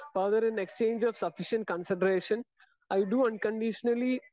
speaker 2 power in exchange of sufficient consideration I do unconditionally